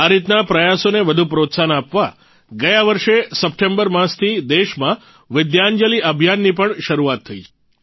આ રીતના પ્રયાસોને વધુ પ્રોત્સાહન આપવા ગયા વર્ષે સપ્ટેમ્બર માસથી દેશમાં વિદ્યાંજલી અભિયાનની પણ શરૂઆત થઇ છે